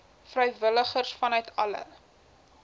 vrywilligers vanuit alle